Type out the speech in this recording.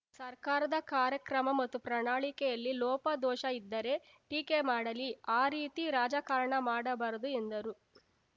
ಸರ್ಕಾರದ ಕಾರ್ಯಕ್ರಮ ಮತ್ತು ಪ್ರಣಾಳಿಕೆಯಲ್ಲಿ ಲೋಪ ದೋಷ ಇದ್ದರೆ ಟೀಕೆ ಮಾಡಲಿ ಆ ರೀತಿ ರಾಜಕಾರಣ ಮಾಡಬಾರದು ಎಂದರು